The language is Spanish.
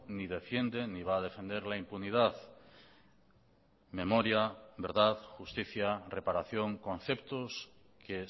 ni defiende ni va a defender la impunidad memoria verdad justicia reparación conceptos que